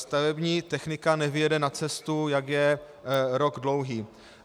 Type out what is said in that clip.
Stavební technika nevyjede na cestu, jak je rok dlouhý.